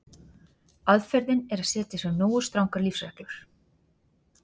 Aðferðin er að setja sér nógu strangar lífsreglur.